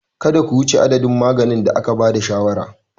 Kada ku wuce adadin maganin da aka ba da shawarar.